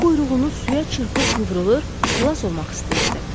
O quyruğunu suya çırpıb qıvrılır, xilas olmaq istəyirdi.